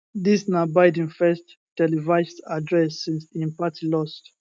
dis na biden first televised address since im party lost